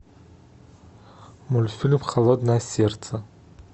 мультфильм холодное сердце